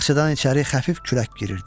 Bağçadan içəri xəfif külək girirdi.